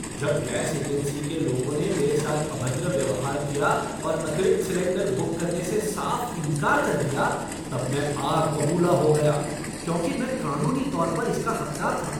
जब gas agency के लोगों ने मेरे साथ अभद्र व्यवहार किया और अतिरिक्त सिलेंडर बुक करने से साफ़ इनकार कर दिया तब मैं आग बबूला हो गया, क्योंकि मैं कानूनी तौर पर इसका हकदार था!